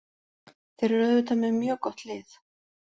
Þeir eru auðvitað með mjög gott lið.